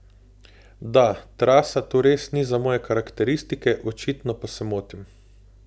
Da, trasa tu res ni za moje karakteristike, očitno pa se motim.